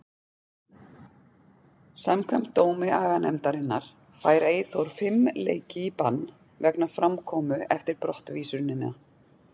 Samkvæmt dómi aganefndarinnar fær Eyþór fimm leiki í bann vegna framkomu eftir brottvísunina.